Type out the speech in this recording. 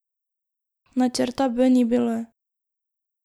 Načrta B ni bilo.